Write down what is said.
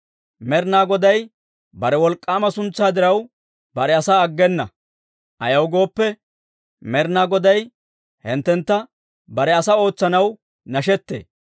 Med'inaa Goday bare wolk'k'aama suntsaa diraw bare asaa aggena; ayaw gooppe, Med'inaa Goday hinttentta bare asaa ootsanaw nashettee.